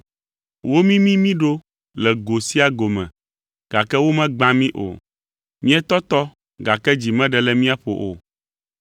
Womimi mí ɖo le go sia go me gake womegbã mí o, míetɔtɔ gake dzi meɖe le míaƒo o,